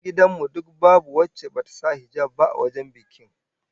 Matan gidan mu duk babu wacce bata sa hijab ba a wajen bikin